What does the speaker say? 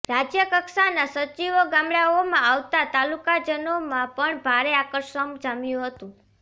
રાજ્યકક્ષાના સચીવો ગામડાઓમાં આવતા તાલુકાજનોમાં પણ ભારે આકર્ષમ જામ્યું હતું